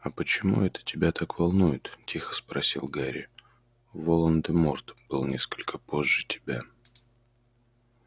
а почему это тебя так волнует тихо спросил гарри волан-де-морт был несколько позже тебя